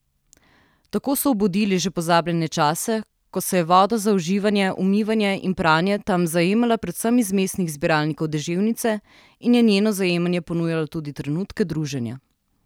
Tako so obudili že pozabljene čase, ko se je voda za uživanje, umivanje in pranje tam zajemala predvsem iz mestnih zbiralnikov deževnice in je njeno zajemanje ponujalo tudi trenutke druženja.